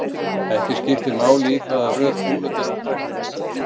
Ekki skiptir máli í hvaða röð kúlurnar eru dregnar.